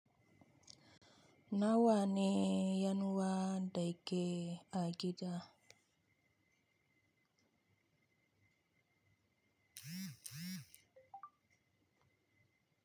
Nawa ne yan uwan da yake a gida?